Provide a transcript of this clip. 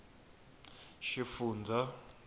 xifundzha